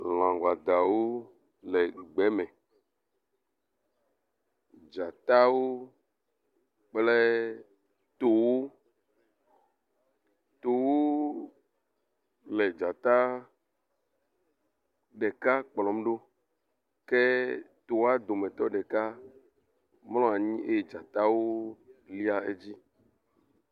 Lã wɔdawo le gbe me. Dzatawo kple towo, towo le dzata ɖeka kplɔm ɖo ke toa dometɔ ɖeka mlɔ anyi eye dzatawo lia edzi.